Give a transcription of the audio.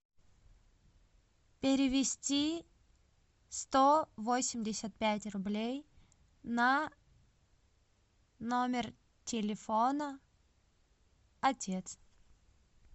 перевести сто восемьдесят пять рублей на номер телефона отец